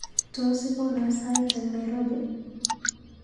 Tos ikona sait eng Nairobi?